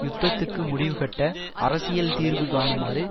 யுத்தத்துக்கு முடிவு கட்ட அரசியல் தீர்வு காணுமாறு